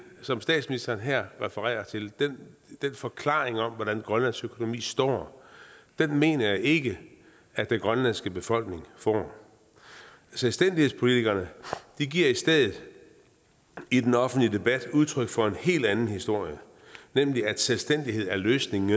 som statsministeren her refererer til den forklaring om hvor grønlands økonomi står mener jeg ikke at den grønlandske befolkning får selvstændighedspolitikerne giver i stedet i den offentlige debat udtryk for en helt anden historie nemlig at selvstændighed er løsning